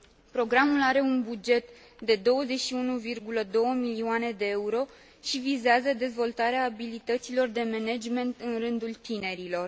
Programul are un buget de 21,2 milioane de euro și vizează dezvoltarea abilităților de management în rândul tinerilor.